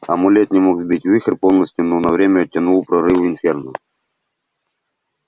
амулет не мог сбить вихрь полностью но на время оттянул прорыв инферно